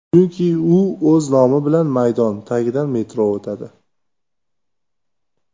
Chunki u o‘z nomi bilan maydon, tagidan metro o‘tadi.